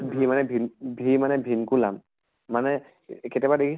v মানে vin, v মানে vinculum মানে কেতিয়াবা দেখিছʼ